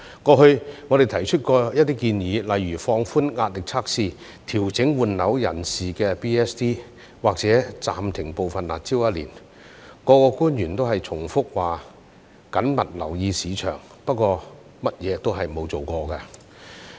過去我們曾提出一些建議，例如放寬壓力測試、調整換樓人士的 DSD， 或暫停部分"辣招"一年，各官員也是重複表示"緊密留意市場"，不過甚麼也沒有做過。